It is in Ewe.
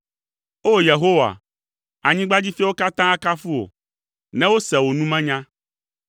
O! Yehowa, anyigbadzifiawo katã akafu wò, ne wose wò numenya.